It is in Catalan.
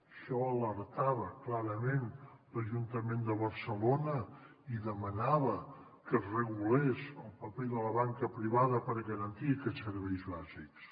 d’això alertava clarament l’ajuntament de barcelona i demanava que es regulés el paper de la banca privada per garantir aquests serveis bàsics